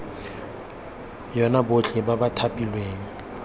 yona botlhe ba ba thapilweng